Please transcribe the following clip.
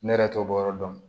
Ne yɛrɛ t'o bɔ yɔrɔ dɔn